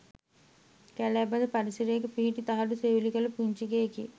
කැලෑ බද පරිසරයක පිහිටි තහඩු සෙවිලි කළ පුංචි ගෙයකි.